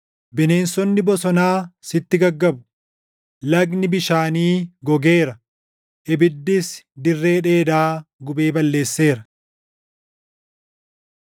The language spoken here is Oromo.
Bineensonni bosonaa sitti gaggabu; lagni bishaanii gogeera; ibiddis dirree dheedaa gubee balleesseera.